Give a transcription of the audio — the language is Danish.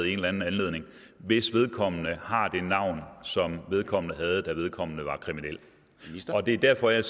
i en eller anden anledning hvis vedkommende har det havn som vedkommende havde da vedkommende var kriminel det er derfor jeg